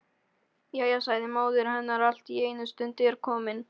Jæja, sagði móðir hennar allt í einu,-stundin er komin.